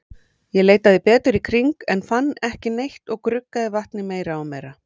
Ég leitaði betur í kring, en fann ekki neitt og gruggaði vatnið meira og meira.